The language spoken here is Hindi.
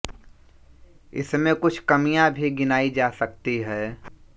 इसमें कुछ कमियाँ भी गिनाई जा सकतीं हैं